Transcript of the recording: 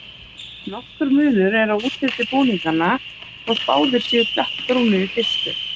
Nokkur munur er á útliti búninganna, þótt báðir séu dökkbrúnir í fyrstu.